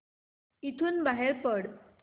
इथून बाहेर पड